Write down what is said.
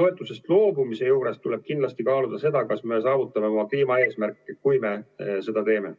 toetusest loobumise juures tuleb kindlasti kaaluda, kas me saavutame oma kliimaeesmärke, kui me seda teeme.